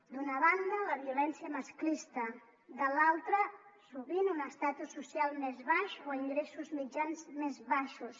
d’una banda la violència masclista de l’altra sovint un estatus social més baix o ingressos mitjans més baixos